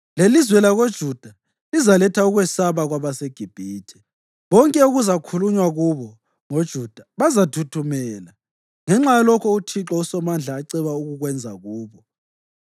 Lelizwe lakoJuda lizaletha ukwesaba kwabaseGibhithe. Bonke okuzakhulunywa kubo ngoJuda bazathuthumela, ngenxa yalokho uThixo uSomandla aceba ukukwenza kubo.